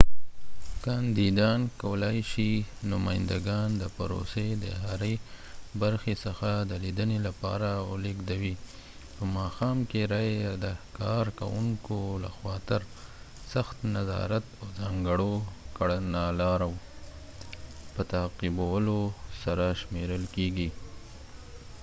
کاندیدان کولای شي نمایندګان د پروسې د هرې برخې څخه د لیدنې لپاره ولیږدوي په ماښآم کې رایې د کارکوونکو لخوا تر سخت نظارت او ځانګړو کړنلارو په تعقیبولو سره شمیرل کیږي